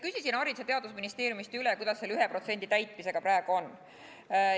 Küsisin Haridus- ja Teadusministeeriumist üle, kuidas selle 1% nõude täitmisega praegu on.